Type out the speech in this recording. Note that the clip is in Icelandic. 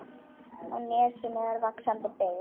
Á nesinu er vaxandi byggð.